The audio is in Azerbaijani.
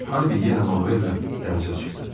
Harvey yenə Manuelə dənizə çıxdı.